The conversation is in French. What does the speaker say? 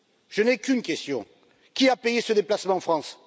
Je n'ai qu'une question qui a payé ce déplacement en France?